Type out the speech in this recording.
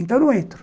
Então eu não entro.